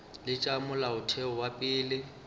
le tša molaotheo wa pele